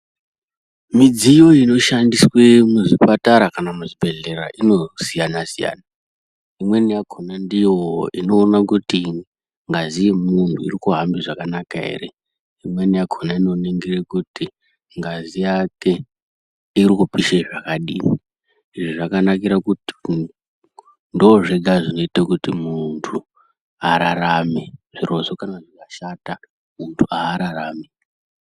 Mudziyo inoshandiswe muzvipatara kana muzvibhehlera inosiyana siyana imweni yakona ndiyo inoona kuti ngazi yemuntu iri kuhamba zvakanaka ere imweni yakona inoningire kuti ngazi yake iri kupishe zvakadini izvi zvakanakire kuti ndozvega zvinoite kuti muntu ararame zvirozvo kana zvikashata muntu ararami.